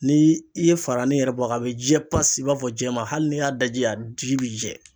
Ni i ye fara ne yɛrɛ b'a ka a bɛ jɛ pasi i b'a fɔ jɛman hali ni y'a daji a ji bɛ jɛ.